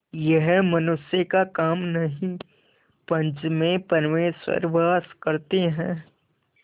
यह मनुष्य का काम नहीं पंच में परमेश्वर वास करते हैं